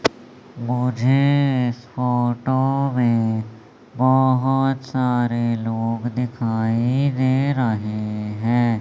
मुझे इस फोटो में बहोत सारे लोग दिखाई दे रहे हैं।